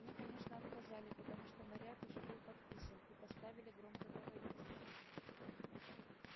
мне конечно отказали потому что наряд уже был подписан и поставили громкоговоритель